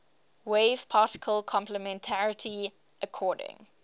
wave particle complementarity according